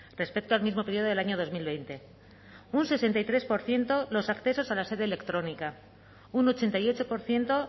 respecto al mismo periodo del año dos mil veinte un sesenta y tres por ciento los accesos a la sede electrónica un ochenta y ocho por ciento